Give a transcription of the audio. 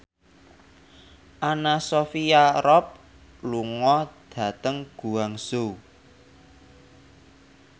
Anna Sophia Robb lunga dhateng Guangzhou